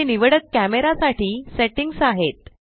हे निवडक कॅमरा साठी सेट्टिंग्स आहेत